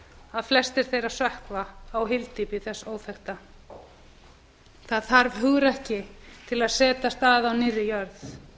að flestir þeirra sökkva á hyldy á á þess óþekkta það þarf hugrekki til að setjast að á á á árið jörð